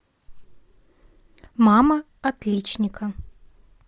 мама отличника